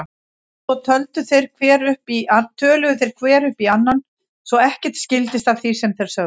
Svo töluðu þeir hver upp í annan svo ekkert skildist af því sem þeir sögðu.